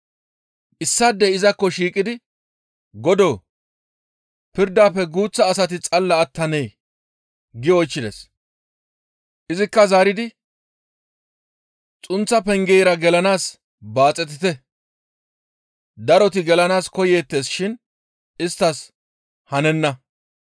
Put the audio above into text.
issaadey izakko shiiqidi, «Godoo! Pirdafe guuththa asati xalla attanee?» gi oychchides. Izikka zaaridi, «Xunththa pengeyra gelanaas baaxetite; daroti gelanaas koyeettes shin isttas hanenna.